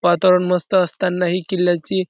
वातावरण मस्त असताना हि किल्ल्याची --